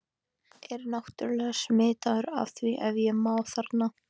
er náttúrlega smitaður af því ef ég má þarna